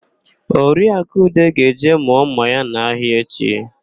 Oriaku Ude ga-eje mụọ ḿmà ya n'ahịa echi.